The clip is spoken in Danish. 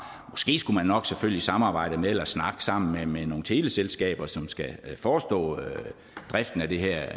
måske skulle man nok selvfølgelig samarbejde med eller snakke sammen med nogle teleselskaber som skal forestå driften af det her